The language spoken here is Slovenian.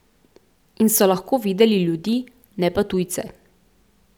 In so lahko videli ljudi, ne pa tujce.